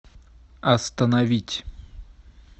остановить